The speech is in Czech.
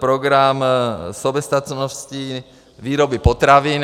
program soběstačnosti výroby potravin.